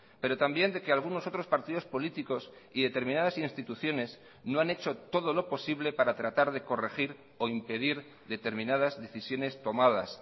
pero también de que algunos otros partidos políticos y determinadas instituciones no han hecho todo lo posible para tratar de corregir o impedir determinadas decisiones tomadas